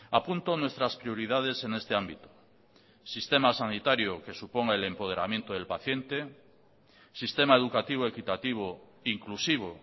apunto nuestras prioridades en este ámbito sistema sanitario que suponga el empoderamiento del paciente sistema educativo equitativo inclusivo